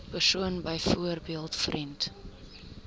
persoon byvoorbeeld vriend